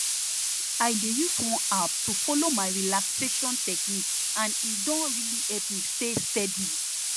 i dey use one app to follow my relaxation technique and e don really help me stay steady